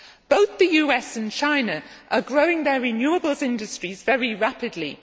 Both the US and China are growing their renewables industries very rapidly.